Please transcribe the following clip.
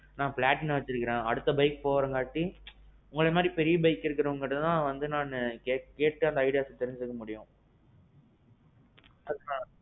நான் platina வச்சிருக்கேன் அடுத்த bike போறங்காட்டி, உங்கள மாறி பெரிய bike இருக்குறவங்க கிட்ட தான் நானு கேட்டு அந்த idea தெரிஞ்சுக்க முடியும். அதுதான்.